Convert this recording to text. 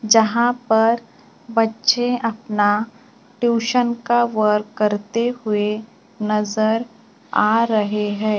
जहां पर बच्चे अपना ट्यूशन का वर्क करते हुए नजर आ रहे है।